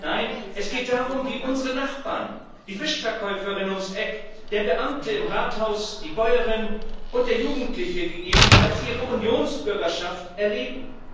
Nein, es geht darum wie unsere Nachbarn die Fischverkäuferin ums Eck, der Beamte im Rathaus, die Bäuerin und der Jugendliche gegebenenfalls ihre Unionsbürgerschaft erleben.